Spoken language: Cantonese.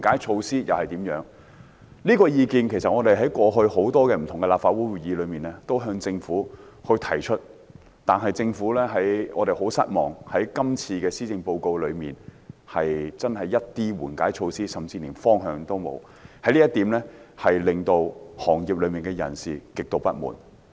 事實上，我們過往在立法會很多不同的會議上，也曾向政府提出有關意見，但我們很失望，今次施政報告真的連一些緩解措施甚至方向也沒有，這令業內人士極度不滿。